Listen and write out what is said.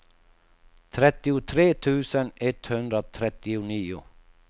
trettiotre tusen etthundratrettionio